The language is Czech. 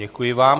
Děkuji vám.